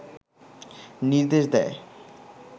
নির্দেশ দেয়